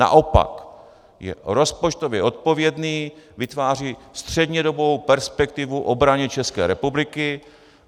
Naopak je rozpočtově odpovědný, vytváří střednědobou perspektivu obraně České republiky.